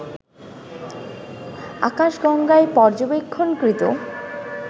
আকাশগঙ্গায় পর্যবেক্ষণকৃত